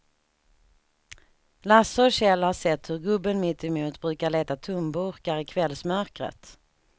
Lasse och Kjell har sett hur gubben mittemot brukar leta tomburkar i kvällsmörkret.